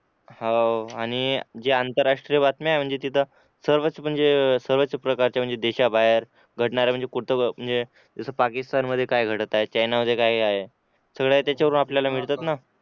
होआणि जे आंतरराष्ट्रीय बातम्या म्हणजे तिथं सर्वच म्हणजे सर्व प्रकारच्या म्हणजे देशाबाहेर घडणाऱ्या म्हणजे कुठ व म्हणजे घडणाऱ्या म्हणजे जस पाकिस्तान मध्ये काय घडत आहे चायना मध्ये काय काय सगळं त्याच्यावरून आपल्याला मिळतात ना